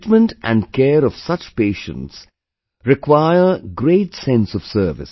The treatment and care of such patients require great sense of service